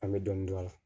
An bɛ dɔɔnin dɔn a la